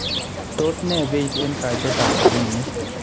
tos ne beit eng kaitetaab rabiinik